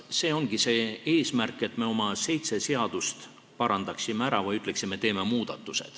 See ongi see eesmärk, et me oma seitse seadust ära parandaksime või ütleksime, et me teeme muudatusi.